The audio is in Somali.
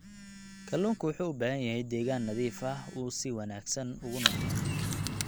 Kalluunku wuxuu u baahan yahay deegaan nadiif ah si uu si wanaagsan ugu noolaado.